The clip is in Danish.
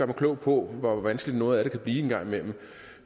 mig klog på hvor vanskeligt noget af det kan blive en gang imellem